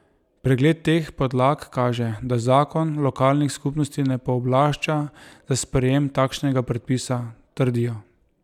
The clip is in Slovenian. Pregled teh podlag kaže, da zakon lokalnih skupnosti ne pooblašča za sprejem takšnega predpisa, trdijo.